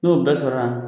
N'o bɛɛ sɔrɔ la